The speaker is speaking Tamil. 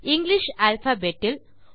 English alphabet will